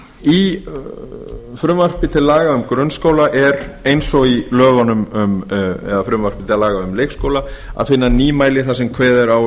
í frumvarpi til laga um grunnskóla er eins og í frumvarpi til laga um leikskóla að finna nýmæli þar sem kveðið er á